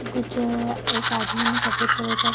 कुछ अअ एक आदमी ने सफेद कलर का --